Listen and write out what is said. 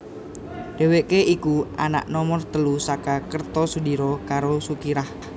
Dhèwèké iku anak nomer telu saka Kertosudiro karo Sukirah